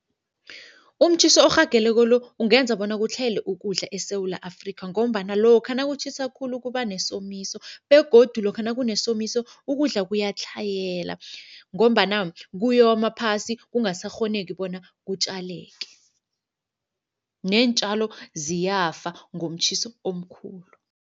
Umtjhiso orhageleko lo, ukungenza bona kutlhayela ukudla eSewula Afrikha ngombana lokha nakutjhisa khulu kuba nesomiso begodu lokha nakunesomiso ukudla kuyatlhayela ngombana kuyoma phasi kungasakghoneki bona kutjaleke. Neentjalo ziyafa ngomtjhiso omkhulu.